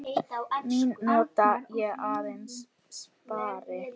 Mína nota ég aðeins spari.